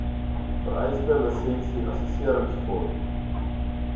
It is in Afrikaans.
vereiste lisensie assesseringsfooi